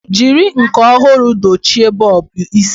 Jiri nke ọhụrụ dochie bọlbụ isi.